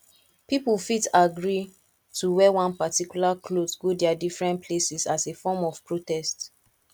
pipo fit agree to wear one particular cloth go their differents places as a form of protest